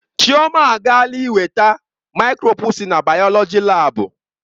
Chioma agaala iweta maịkroskopụ si na bayoloji laabu.